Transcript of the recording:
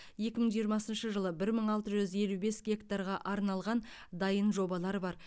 екі мың жиырмасыншы жылы бір мың алты жүз елу бес гектарға арналған дайын жобалар бар